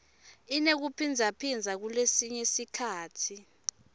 inekuphindzaphindza kulesinye sikhatsi